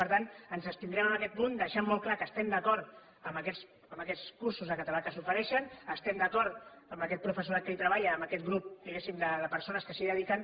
per tant ens abstindrem en aquest punt deixant molt clar que estem d’acord amb aquests cursos de català que s’ofereixen estem d’acord amb aquest professorat que hi treballa amb aquest grup diguéssim de persones que s’hi dediquen